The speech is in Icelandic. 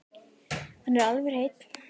Hann er alveg hreinn.